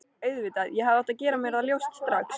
Auðvitað, ég hefði átt að gera mér það ljóst strax.